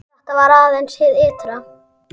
Þetta var aðeins hið ytra.